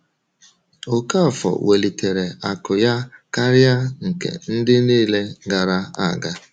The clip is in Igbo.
Okafor welitere akụ ya karịa nke ndị niile gara aga.